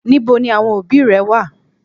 Níbo ni àwọn òbí rẹ wà?